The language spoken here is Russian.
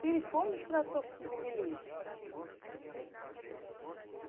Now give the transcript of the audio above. ты ведь помнишь про отцовский юбилей